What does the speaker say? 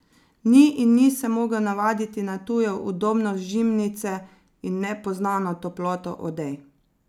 Ni in ni se mogel navaditi na tujo udobnost žimnice in nepoznano toploto odej.